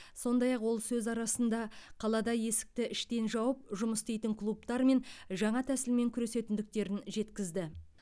сондай ақ ол сөз арасында қалада есікті іштен жауып жұмыс істейтін клубтармен жаңа тәсілмен күресетіндіктерін жеткізді